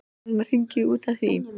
Var hann að hringja í þig út af því?